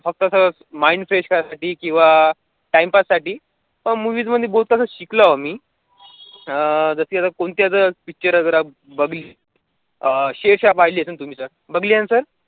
हो तर sir mind fresh राहण्यासाठी किवा time pass साठी movie मध्ये बहुत सार शिकलो आम्ही अं जशी अगर कोणची जर picture बघली अं शेरशाह पाहिली असेल तुम्ही तर बघली आहे ना sir